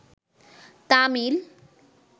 Tamil